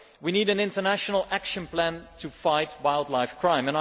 We need an international action plan to fight wildlife crime.